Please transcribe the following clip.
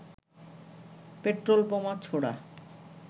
petrol বোমা ছোড়া